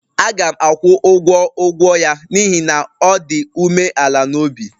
Aga m akwụ ụgwọ ụgwọ ya n'ihi na ọ dị umeala n'obi